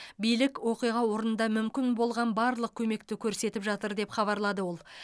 билік оқиға орнында мүмкін болған барлық көмекті көрсетіп жатыр деп хабарлады ол